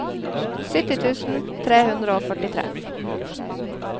sytti tusen tre hundre og førtitre